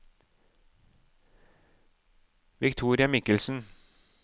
Victoria Michelsen